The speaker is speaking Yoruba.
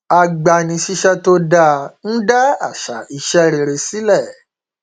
agbanisíṣẹ tó dáa ń dá àṣà iṣẹ rere sílẹ